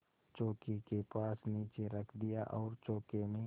चौकी के पास नीचे रख दिया और चौके में